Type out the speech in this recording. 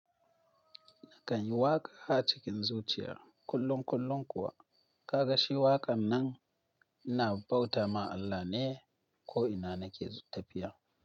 Nakan yi waƙa a cikin zuciya kullum kullum kuwa, ka ga shi waƙan nan ina bauta ma Allah ne ko ina nake tafiya.